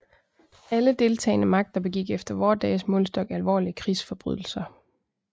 Alle deltagende magter begik efter vore dages målestok alvorlige krigsforbrydelser